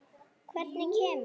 Hvernig kemur